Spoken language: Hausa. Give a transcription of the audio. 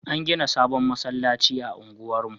An gina sabon masallacin a unguwar mu